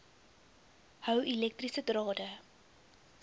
hou elektriese drade